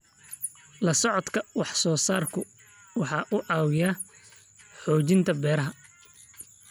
La socodka wax soo saarku waxa uu caawiyaa xoojinta beeraha.